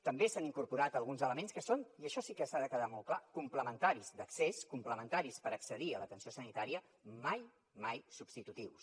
també s’han incorporat alguns elements que són i això sí que ha de quedar molt clar complementaris d’accés complementaris per accedir a l’atenció sanitària mai substitutius